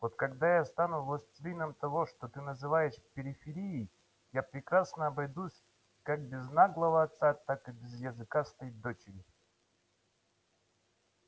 вот когда я стану властелином того что ты называешь периферией я прекрасно обойдусь как без наглого отца так и без языкастой дочери